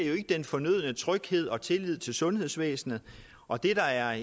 den fornødne tryghed og tillid til sundhedsvæsenet og det der er